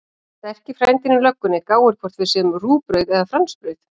Sterki frændinn í löggunni gáir hvort við séum rúgbrauð eða fransbrauð.